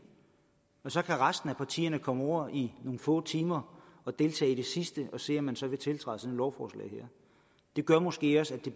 og så kan resten af partierne komme over i nogle få timer og deltage i den sidste og se om man så vil tiltræde lovforslag her det gør måske også at det